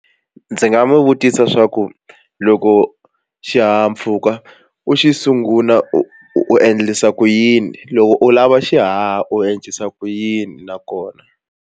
Ndzi nga n'wi vutisa swa ku loko xihahampfhuka u xi sungula u endlisa ku yini loko u lava xihaha u endlisa ku yini nakona.